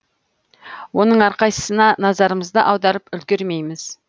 оның әрқайсысна назарымызды аударып үлгермейміз